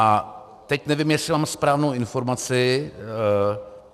A teď nevím, jestli mám správnou informaci.